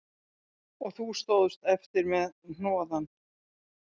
Og þú stóðst eftir með hnoðann